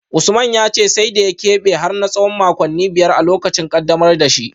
Usman ya ce sai da ya kebe har na tsawon makonni biyar a lokacin kaddamar da shi